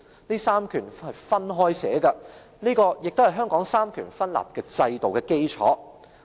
"這三權是分開寫的，這也是香港三權分立制度的基礎。